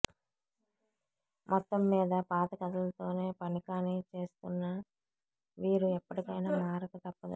మొత్తమ్మీద పాత కథలతోనే పని కానిచేస్తున్న వీరు ఇప్పటికైనా మారకు తప్పదు